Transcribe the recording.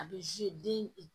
A bɛ den